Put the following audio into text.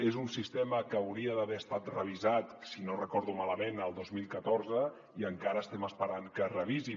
és un sistema que hauria d’haver estat revisat si no recordo malament el dos mil catorze i encara estem esperant que es revisi